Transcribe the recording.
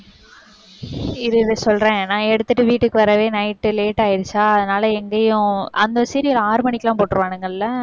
இரு, இரு சொல்றேன். நான் எடுத்துட்டு வீட்டுக்கு வரவே night உ late ஆயிடுச்சா? அதனால எங்கயும் அந்த serial ஆறு மணிக்கெல்லாம் போட்டிருவானுங்கல்ல?